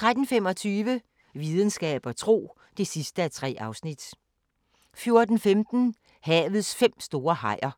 13:25: Videnskab og tro (3:3) 14:15: Havets fem store hajer